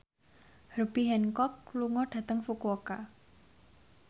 Herbie Hancock lunga dhateng Fukuoka